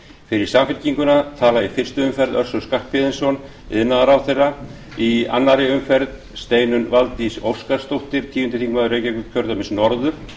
fyrir samfylkinguna talar í fyrstu umferð össur skarphéðinsson iðnaðarráðherra í annarri umferð steinunn valdís óskarsdóttir tíundi þingmaður reykjavíkurkjördæmis norður